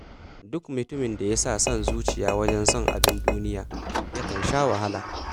Duk mutumin da ya sa son zuciya wajen son abin duniya, yakan sha wahala.